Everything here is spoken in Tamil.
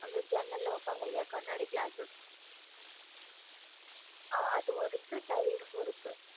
அந்த ஜன்னல்ல வைப்பாங்கல்லா கண்ணாடி glasses ஆஹ் அதுவும் இருக்கு tiles ம் இருக்கு